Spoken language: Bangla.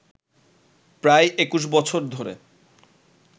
প্রায় ২১ বছর ধরে